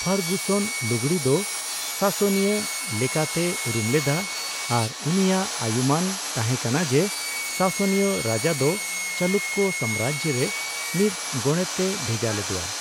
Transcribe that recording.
Ferguson ᱞᱩᱜᱽᱲᱤ ᱫᱚ ᱥᱟᱥᱮᱱᱤᱭᱚ ᱞᱮᱠᱟᱛᱮᱭ ᱩᱨᱩᱢ ᱞᱮᱫᱟ, ᱟᱨ ᱩᱱᱤᱭᱟᱜ ᱟᱭᱩᱢᱟᱹᱱ ᱛᱟᱸᱦᱮ ᱠᱟᱱᱟ ᱡᱮ, ᱥᱟᱥᱮᱱᱤᱭᱚ ᱨᱟᱡᱟ ᱫᱚ ᱪᱟᱞᱩᱠᱚ ᱥᱟᱢᱨᱟᱡᱽ ᱨᱮ ᱢᱤᱫᱼᱜᱚᱰᱮᱛᱮ ᱵᱷᱮᱡᱟ ᱞᱮᱫᱮᱭᱟ ᱾